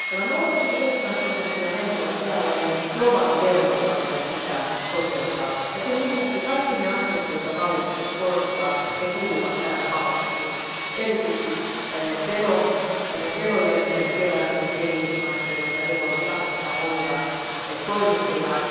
Tämä 0,7 prosenttia on eräänlainen globaali vero, joka meidän pitää toteuttaa, ja sen lisäksi kaikki ne asiat, joita valiokunta korostaa, kuuluvat tähän palettiin, erityisesti verojen kerääminen kehitysmaissa, jotta ne voivat rahoittaa omia toimintojaan.